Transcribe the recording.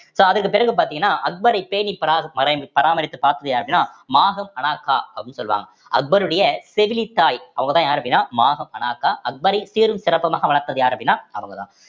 so அதுக்கு பிறகு பாத்தீங்கன்னா அக்பரை பேணி பரா~ பாரை~ பராமரித்து பார்த்தது யாரு அப்படின்னா மகம் அண்ணாக்க அப்படின்னு சொல்லுவாங்க அக்பருடைய செவிலித்தாய் அவங்கதான் யாரு அப்படின்னா மகம் அங்கா அக்பரின் சீரும் சிறப்புமாக வளர்த்தது யார் அப்படின்னா அவங்கதான்